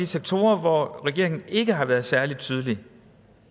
sektorer hvor regeringen ikke har været særlig tydelig